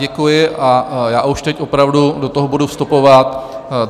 Děkuji a já už teď opravdu do toho budu vstupovat.